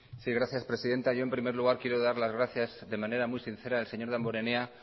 sí gracias presidenta yo en primer lugar quiero dar las gracias de manera muy sincera al señor damborenea